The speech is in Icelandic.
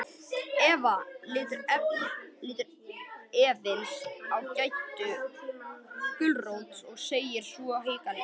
Eva lítur efins á Geddu gulrót og segir svo hikandi.